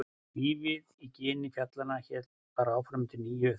Lífið í gini fjallanna hélt bara áfram undir nýju þaki, innan nýrra veggja.